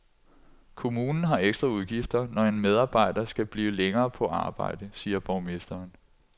Kommunen har ekstra udgifter, når en medarbejder skal blive længere på arbejde, siger borgmesteren.